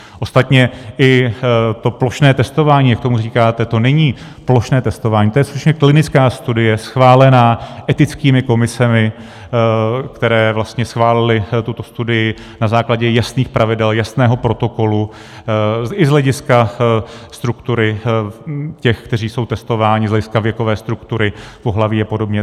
Ostatně i to plošné testování, jak tomu říkáte, to není plošné testování, to je skutečně klinická studie schválená etickými komisemi, které vlastně schválily tuto studii na základě jasných pravidel, jasného protokolu i z hlediska struktury těch, kteří jsou testování, z hlediska věkové struktury pohlaví a podobně.